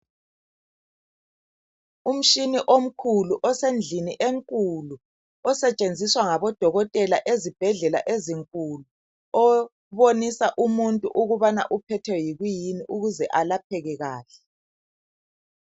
Umtshina omkhulu osendlini enkulu osetshenziswa ngabodokodela ezibhedlela ezinkulu obonisa umuntu ukuba uphethwe yikuyini ukuze alapheke kahle.